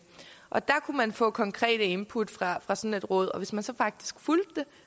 og der kunne man få konkrete input fra fra sådan et råd og hvis man så faktisk fulgte